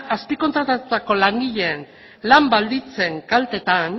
azpikontratatutako langileen lan baldintzen kaltetan